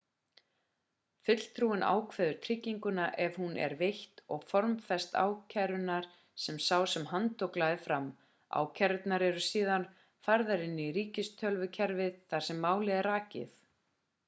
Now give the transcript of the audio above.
fulltrúinn ákveður trygginguna ef hún er veitt og formfestir ákærurnar sem sá sem handtók lagði fram ákærurnar eru síðan færðar inn í ríkistölvukerfið þar sem málið er rakið